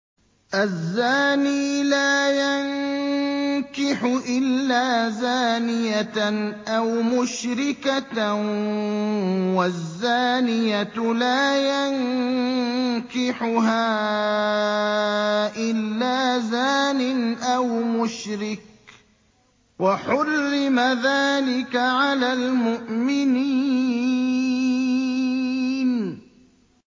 الزَّانِي لَا يَنكِحُ إِلَّا زَانِيَةً أَوْ مُشْرِكَةً وَالزَّانِيَةُ لَا يَنكِحُهَا إِلَّا زَانٍ أَوْ مُشْرِكٌ ۚ وَحُرِّمَ ذَٰلِكَ عَلَى الْمُؤْمِنِينَ